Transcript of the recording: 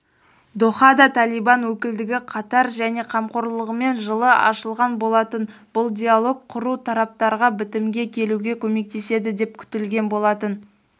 дохада талибан өкілдігі катар және қамқорлығымен жылы ашылған болатын бұл диалог құру тараптарға бітімге келуге көмектеседі деп күтілген болатын